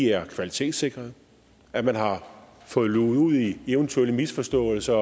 er kvalitetssikrede og at man har fået luget ud i eventuelle misforståelser